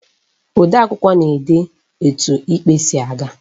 Odeakwụkwọ na-ede etu ikpe si aga.